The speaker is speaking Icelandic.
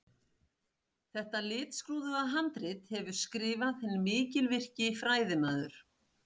Þetta litskrúðuga handrit hefur skrifað hinn mikilvirki fræðimaður